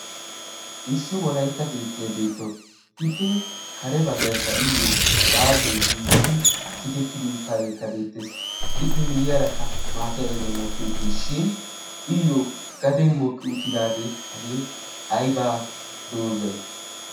issi wolaytta keettiyai beettoos ippe kare baggaikka iyyo baasoy giigidi piitettidi uttaageekka beettees ippe miyiyaarakka maatay ayben mokki uttiis shin iyyo gaden mokki uttidaagee hagee aybaa doozay